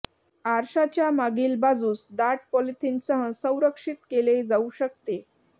आरशाच्या मागील बाजूस दाट पॉलीथीनसह संरक्षित केले जाऊ शकते